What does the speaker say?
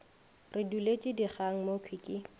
re duletše dikgang mokhwi ke